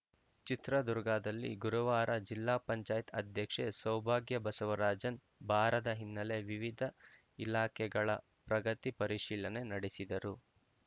ಚಿತ್ರದುರ್ಗದಲ್ಲಿ ಗುರುವಾರ ಜಿಲ್ಲಾ ಪಂಚಾಯತ್ ಅಧ್ಯಕ್ಷೆ ಸೌಭಾಗ್ಯ ಬಸವರಾಜನ್‌ ಬಾರಾದ ಹಿನ್ನೆಲೆಯಲ್ಲಿ ವಿವಿಧ ಇಲಾಖೆಗಳ ಪ್ರಗತಿ ಪರಿಶೀಲನೆ ನಡೆಸಿದರು